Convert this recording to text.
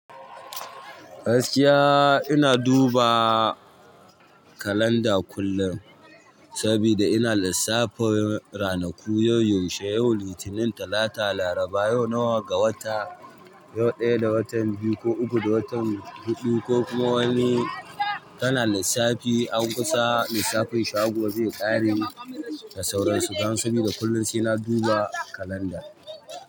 Gaskiya ina duba kalanda kullum saboda ina lissafin ranaku, yau yaushe, yau Litinin, Talata, Laraba, yau nawa ga wata, yau ɗaya ga watan biyu ko uku ga watan huɗu ko kuma wani. Kana lissafi an kusa lissafin shago zai ƙare da sauransu. Dan sabida kullum suna duba kalanda.